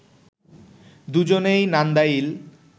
দুজনেই নান্দাইল